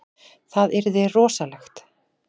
Það yrði rosalegt.